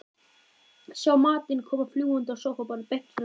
Sjá matinn koma fljúgandi á sófaborðið beint fyrir framan sig.